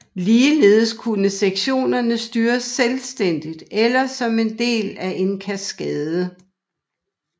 Ligeledes kunne sektionerne styres selvstændigt eller som en del af en kaskade